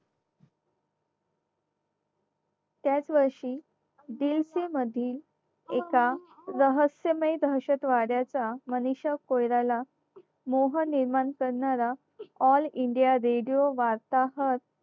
त्याच वर्षी दिल से मधील एका रहस्यमय दहशतवादाचा मनीषा कोयराला मोह निर्माण करणारा all india radio वार्ताहर